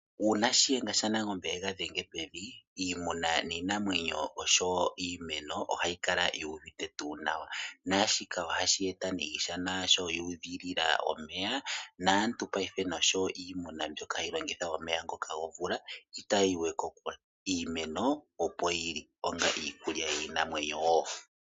Uuna shiyenga shanangombe engadhenga pevi iimuna ninamwenyo osho iimeno ohayi kala yuvite tu nawa nashika ohashi eta ne iishana ayihe yudhilila omeya, naantu payife nosho iimuna mbyoka hayi longitha omeya ngoka gomvula itayiwe kokule Iimeno opo yili onga iikulya yinamwenyo wo.